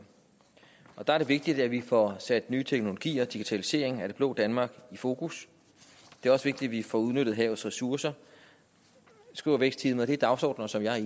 der er det vigtigt at vi får sat nye teknologier digitalisering af det blå danmark i fokus det er også vigtigt at vi får udnyttet havets ressourcer skriver vækstteamet og det er dagsordener som jeg er